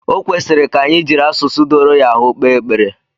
Ọ kwesịrị ka anyị jiri asụsụ doro ya ahụ kpee ekpere